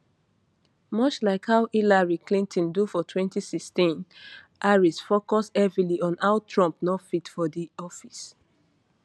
much like how hillary clinton do for 2016 harris focus heavily on how trump no fit for di office